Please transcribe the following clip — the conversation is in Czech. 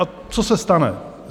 A co se stane?